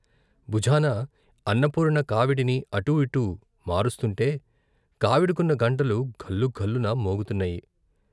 భుజాన అన్నపూర్ణ కావిడిని అటూ ఇటూ మారుస్తుంటే కావిడికున్న గంటలు ఘల్లుఘల్లున మోగుతున్నాయి.